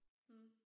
Mh